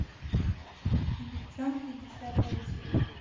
девчонки десятая серия